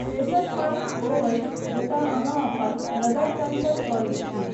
तेसर पाँति ओ अछि जतय अहाँ अपन नगर टङ्कण करैत छी।